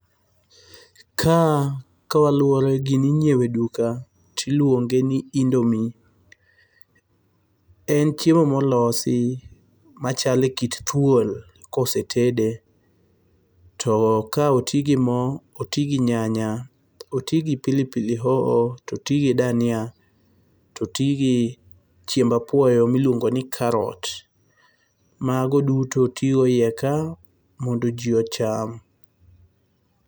Ka kaluwore gini inyewo e duka tiluonge ni indomie. En chiemo molosi machalo e kit thuol kosetede. To ka oti gi mo, oti gi nyanya, oti gi pilipili hoho to oti gi dhania to oti gi chiemb apuoyo miluongo ni karot. Mago tudo oti go iye ka mondo ji ocham.